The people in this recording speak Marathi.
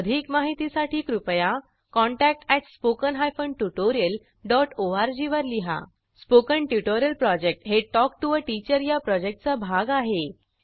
अधिक माहितीसाठी कृपया contact at spoken hyphen tutorial dot ORG वर लिहा स्पोकन ट्युटोरियल प्रॉजेक्ट हे टॉक टू अ टीचर या प्रॉजेक्टचा भाग आहे